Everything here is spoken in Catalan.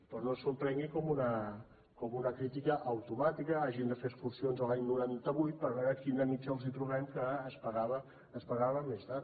però no s’ho prenguin com una crítica automàtica que hagin de fer excursions a l’any noranta vuit per veure quina mitjana els trobem que es pagava més tard